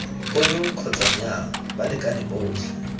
ono kgotsa nnyaa balekane botlhe